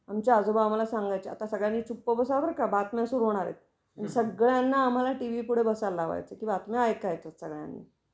आमचे आजोबा आह्माला सांगायच्या आता सगळ्यांनी चुप बसा हा बर का, बातम्या सुरू होणार आहेत. आणि सगळ्यांना आम्हाला टीव्ही पुढे बसायला लावायच, कि बातम्या ऐकायच्या सगळ्यांनी